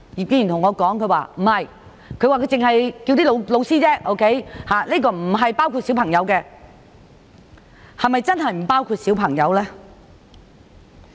"他對我說他只是呼籲老師而已，並不包括小朋友，但是否真的不包括小朋友？